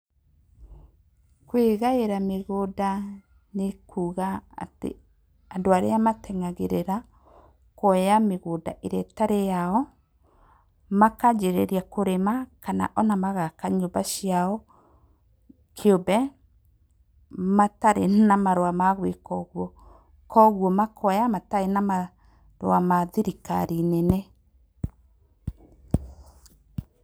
Kwĩgaĩra mĩgũnda nĩ kuga atĩ andũ arĩa mateng'agĩrĩra mĩgũnda ĩrĩa ĩtarĩ yao makanjĩrĩria kũrĩma kana ona magaka nyũmba ciao kĩũmbe matarĩ na marũa magwĩka ũguo, kwoguo makoya matarĩ na marũa ma thirikari nene. Pause